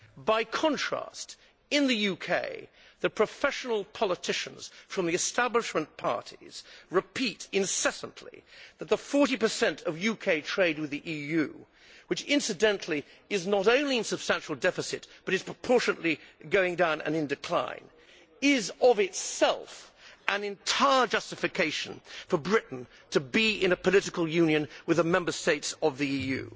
By contrast, in the UK the professional politicians from the establishment parties repeat incessantly that the 40 of UK trade with the EU which, incidentally, is not only in substantial deficit but is proportionately declining is of itself an entire justification for Britain to be in a political union with the Member States of the EU.